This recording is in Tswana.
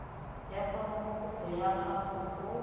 ya foromokopo ya gago go